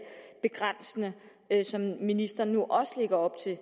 begrænsninger som ministeren nu også lægger op til